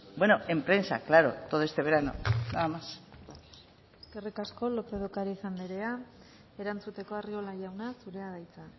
bueno en prensa claro todo este verano nada más eskerrik asko lópez de ocariz andrea erantzuteko arriola jauna zurea da hitza